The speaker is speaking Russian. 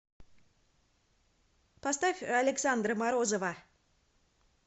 поставь александра морозова